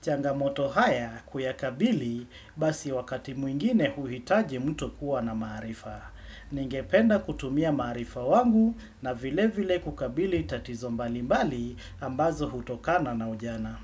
Changamoto haya kuyakabili basi wakati mwingine uhitaji mtu kuwa na maharifa. Ningependa kutumia maharifa wangu na vile vile kukabili tatizo mbali mbali ambazo hutokana na ujana.